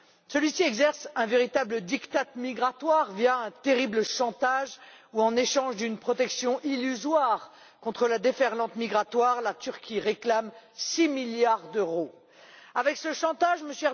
Celui ci exerce un véritable diktat migratoire via un terrible chantage où, en échange d'une protection illusoire contre la déferlante migratoire, la Turquie réclame 6 milliards d'euros. Avec ce chantage, M.